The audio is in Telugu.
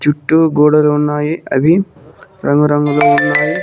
చుట్టూ గోడలు ఉన్నాయి అవి రంగు రంగులో లు ఉన్నాయి.